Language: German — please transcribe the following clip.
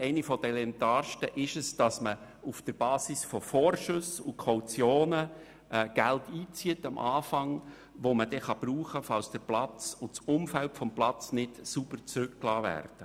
Eine davon ist es, auf der Basis von Vorschüssen und Kautionen zu Beginn Geld einzuziehen, welches gebraucht werden kann, wenn der Platz und dessen Umfeld nicht sauber zurückgelassen werden.